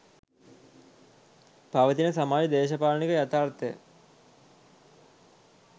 පවතින සමාජ දේශපාලනික යථාර්ථය